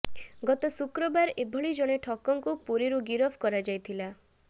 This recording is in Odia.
ଗତ ଶୁକ୍ରବାର ଏଭଳି ଜଣେ ଠକଙ୍କୁୁ ପୁରୀରୁ ଗିରଫ କରାଯାଇଥିଲା